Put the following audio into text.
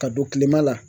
Ka don kilema la